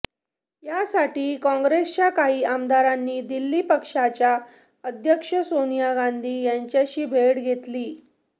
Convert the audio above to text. यासाठी काँग्रेसच्या काही आमदारांनी दिल्लीत पक्षाच्या अध्यक्ष सोनिया गांधी यांचीही भेट घेतली